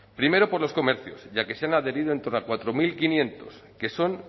primero por los comercios ya que se han adherido en torno a cuatro mil quinientos que son